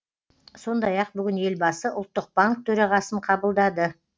сондай ақ бүгін елбасы ұлттық банк төрағасын қабылдады